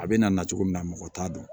A bɛ na na cogo min na mɔgɔ t'a dɔn